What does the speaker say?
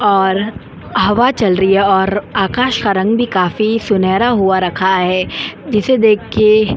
और हवा चल रही है और आकाश का रंग भी काफी सुनहरा हुआ रखा है जिसे देख के --